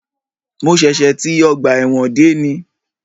Mo ṣẹ̀ṣẹ̀ ti ọgbà ẹ̀wọ̀n dé ní